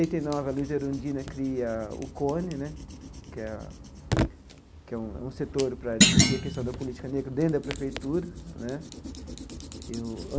Oitenta e nove, a Luiza Erundina cria o né, que é a que é um setor para discutir a questão da política negra dentro da prefeitura né e o.